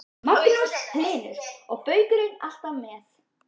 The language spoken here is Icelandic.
Magnús Hlynur: Og baukurinn alltaf með?